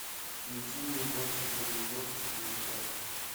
включи мне больше чем любовь четыре ка